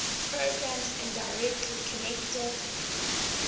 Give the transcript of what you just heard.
programs indirectly connected